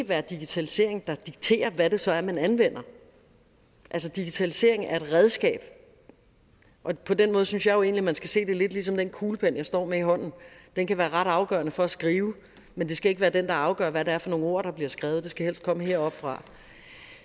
være digitaliseringen der dikterer hvad det så er man anvender digitalisering er et redskab og på den måde synes jeg jo egentlig at man skal se det lidt ligesom den kuglepen jeg står med i hånden den kan være ret afgørende for at skrive men det skal ikke være den der afgør hvad det er for nogle ord der bliver skrevet det skal helst komme heroppefra